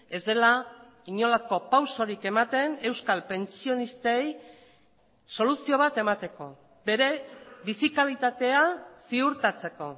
ez dela inolako pausorik ematen euskal pentsionistei soluzio bat emateko bere bizi kalitatea ziurtatzeko